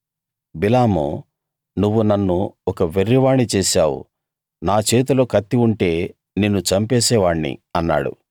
బిలాము నువ్వు నన్ను ఒక వెర్రివాణ్ణి చేశావు నా చేతిలో కత్తి ఉంటే నిన్ను చంపేసే వాణ్ణి అన్నాడు